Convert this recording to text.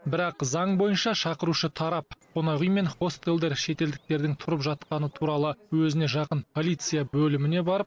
бірақ заң бойынша шақырушы тарап қонақүй мен хостелдер шетелдіктердің тұрып жатқаны туралы өзіне жақын полиция бөліміне барып